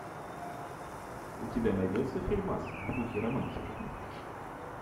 у тебя найдется фильмас в духе романтика